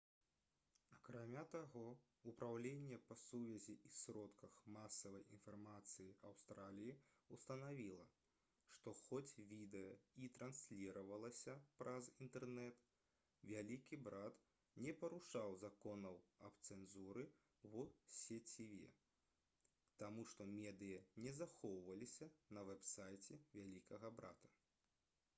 акрамя таго упраўленне па сувязі і сродках масавай інфармацыі аўстраліі ўстанавіла што хоць відэа і трансліравалася праз інтэрнэт «вялікі брат» не парушаў законаў аб цэнзуры ў сеціве таму што медыя не захоўваліся на вэб-сайце «вялікага брата»